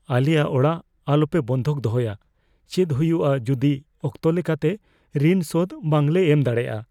ᱟᱞᱮᱭᱟᱜ ᱚᱲᱟᱜ ᱟᱞᱚᱯᱮ ᱵᱟᱱᱫᱷᱚᱠ ᱫᱚᱦᱚᱭᱟ ᱾ ᱪᱮᱫ ᱦᱩᱭᱩᱜᱼᱟ ᱡᱩᱫᱤ ᱚᱠᱛᱚ ᱞᱮᱠᱟᱛᱮ ᱨᱤᱱ ᱥᱳᱫᱷ ᱵᱟᱝᱞᱮ ᱮᱢ ᱫᱟᱲᱮᱭᱟᱜᱼᱟ ?